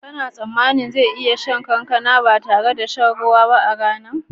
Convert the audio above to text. Kana tsammanin zan iya cin kankana ba tare da shan ruwa a rana ba?